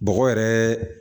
Bɔgɔ yɛrɛ